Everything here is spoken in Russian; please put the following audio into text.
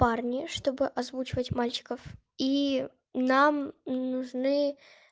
парни чтобы озвучивать мальчиков и нам нужны